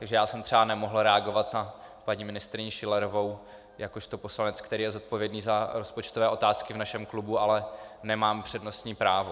Takže já jsem třeba nemohl reagovat na paní ministryni Schillerovou, jakožto poslanec, který je zodpovědný za rozpočtové otázky v našem klubu, ale nemám přednostní právo.